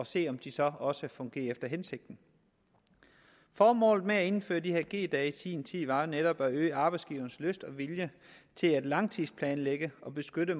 se om de så også fungerer efter hensigten formålet med at indføre de her g dage i sin tid var jo netop at øge arbejdsgivernes lyst og vilje til at langtidsplanlægge og beskytte